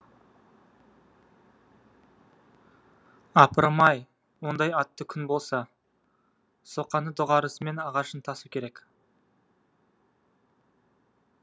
апырым ай ондай атты күн болса соқаны доғарысымен ағашын тасу керек